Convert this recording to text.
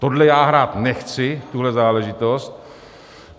Tohle já hrát nechci, tuhle záležitost.